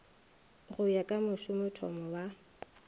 go ya ka mošomothomo wa